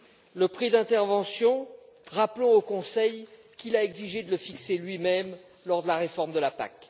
Concernant le prix d'intervention, rappelons au Conseil qu'il a exigé de le fixer lui même lors de la réforme de la PAC.